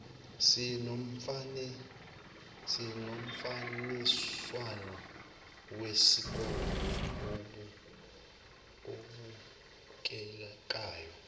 sinomfaniswano wesikole obukekayo